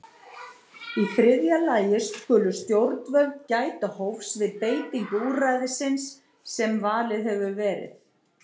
Í þriðja lagi skulu stjórnvöld gæta hófs við beitingu úrræðisins sem valið hefur verið.